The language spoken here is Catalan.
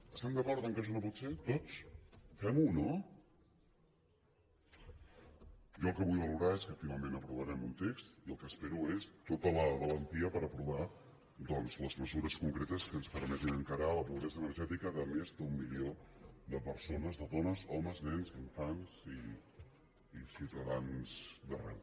estem d’acord que això no pot ser tots fem ho no jo el que vull valorar és que finalment aprovarem un text i el que espero és tota la valentia per aprovar doncs les mesures concretes que ens permetin encarar la pobresa energètica de més d’un milió de persones de dones homes nens infants i ciutadans d’arreu